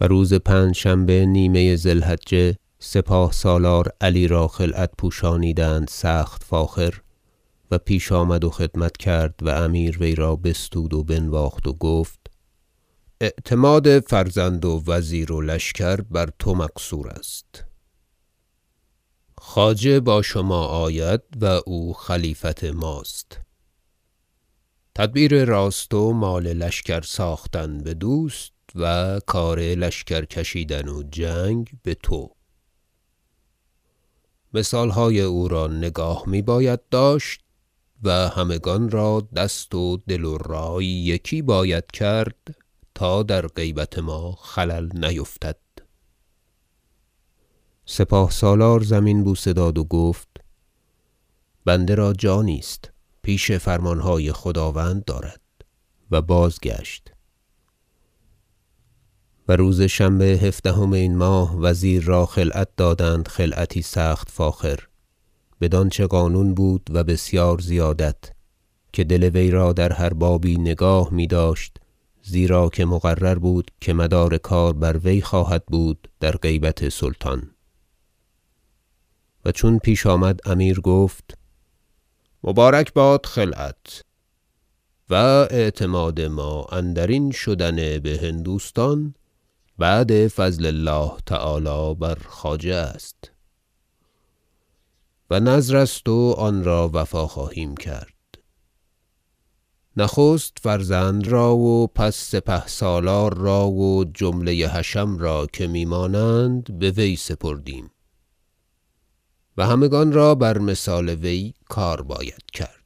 و روز پنجشنبه نیمه ذی الحجه سپاه سالار علی را خلعت پوشانیدند سخت فاخر و پیش آمد و خدمت کرد و امیر وی را بستود و بنواخت و گفت اعتماد فرزند و وزیر و لشکر بر تو مقصور است خواجه با شما آید و او خلیفت ماست تدبیر راست و مال لشکر ساختن بدوست و کار لشکر کشیدن و جنگ بتو مثالهای او را نگاه میباید داشت و همگان را دست و دل و رای یکی باید کرد تا در غیبت ما خلل نیفتد سپاه سالار زمین بوسه داد و گفت بنده را جانی است پیش فرمانهای خداوند دارد و بازگشت و روز شنبه هفدهم این ماه وزیر را خلعت دادند خلعتی سخت فاخر بدانچه قانون بود و بسیار زیادت که دل وی را در هر بابی نگاه میداشت زیرا که مقرر بود که مدار کار بر وی خواهد بود در غیبت سلطان و چون پیش آمد امیر گفت مبارک باد خلعت و اعتماد ما اندرین شدن بهندوستان بعد فضل الله تعالی بر خواجه است و نذر است و آن را وفا خواهیم کرد نخست فرزند را و پس سپاه سالار را و جمله حشم را که میمانند بوی سپردیم و همگان را بر مثال وی کار باید کرد